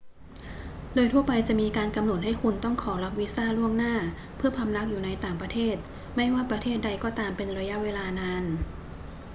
โดยทั่วไปจะมีการกำหนดให้คุณต้องขอรับวีซ่าล่วงหน้าเพื่อพำนักอยู่ในต่างประเทศไม่ว่าประเทศใดก็ตามเป็นระยะเวลานาน